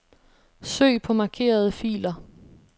Søg på markerede filer.